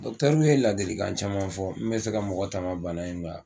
ninnu ye ladilikan caman fɔ mun bɛ se ka mɔgɔ tanga bana in ma